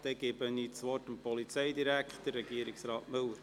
Ich gebe das Wort Regierungsrat Müller.